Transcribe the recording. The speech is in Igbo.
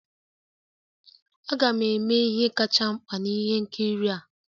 Aga m eme ihe kacha mkpa na ihe nkiri a